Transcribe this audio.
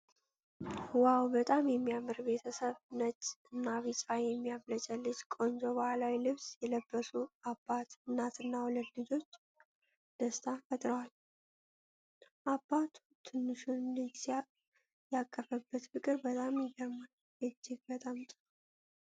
ዋው፣ በጣም የሚያምር ቤተሰብ! ነጭ እና ቢጫ የሚያብለጨልጭ ቆንጆ ባህላዊ ልብስ የለበሱ አባት፣ እናትና ሁለት ልጆች ደስታን ፈጥረዋል። አባቱ ትንሹን ልጅ ያቀፈበት ፍቅር በጣም ይገርማል። እጅግ በጣም ጥሩ!